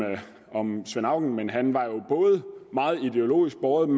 svend auken men han var jo både meget ideologisk båret